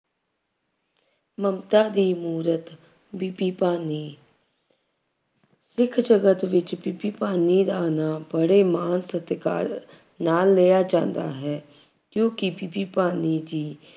ਮਮਤਾ ਦੀ ਮੂਰਤ, ਬੀਬੀ ਭਾਨੀ ਸਿੱਖ ਜਗਤ ਵਿੱਚ ਬੀਬੀ ਭਾਨੀ ਦਾ ਨਾਮ ਬੜੇ ਮਾਣ ਸਤਿਕਾਰ ਨਾਲ ਲਿਆ ਜਾਂਦਾ ਹੈ। ਕਿਉਂਕਿ ਬੀਬੀ ਭਾਨੀ ਜੀ